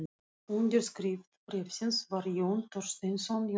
Undirskrift bréfsins var Jón Thorsteinsson Jónsson.